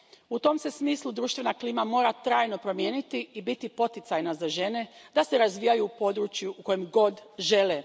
U tom se smislu društvena klima mora trajno promijeniti i biti poticajna za žene, da se razvijaju u području u kojem god žele.